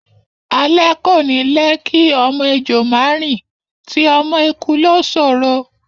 Alé kò ní lẹ́ kí ọmọ ejò má rìn, ti ọmọ eku ló ṣòro.